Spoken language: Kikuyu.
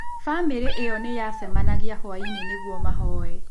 Famĩlĩ ĩyo nĩ yacemanagia hwaĩ-inĩ nĩguo mahoye.